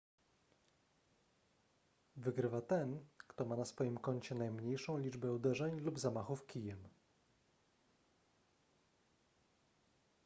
wygrywa ten kto ma na swoim koncie najmniejszą liczbę uderzeń lub zamachów kijem